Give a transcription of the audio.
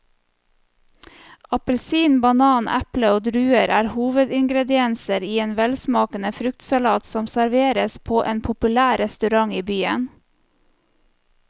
Appelsin, banan, eple og druer er hovedingredienser i en velsmakende fruktsalat som serveres på en populær restaurant i byen.